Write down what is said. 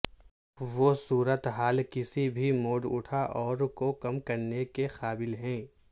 وہ صورت حال کسی بھی موڈ اٹھا اور کو کم کرنے کے قابل ہیں